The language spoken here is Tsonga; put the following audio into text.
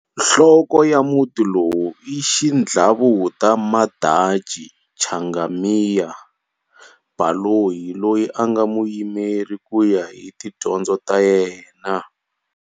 Nhloko ya Muti lowu i Xidlavuta Madanci Changamire Baloyi loyi anga muyimeri kuya hi tidyondzo ta yena.